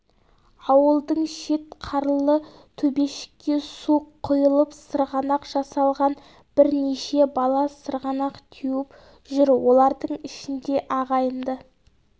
ауылдың шет қарлы төбешікке су құйылып сырғанақ жасалған брнеше бала сырғанақ теуіп жүр олардың ішінде ағайынды